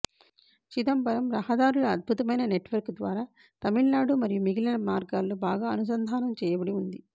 చిదంబరం రహదారుల అద్భుతమైన నెట్వర్క్ ద్వారా తమిళనాడు మరియు మిగిలిన మార్గాల్లో బాగా అనుసంధానం చేయబడి వుంది